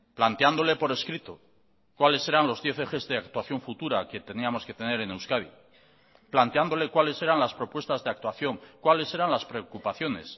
planteándole por escrito cuáles eran los diez ejes de actuación futura que teníamos que tener en euskadi planteándole cuáles eran las propuestas de actuación cuáles eran las preocupaciones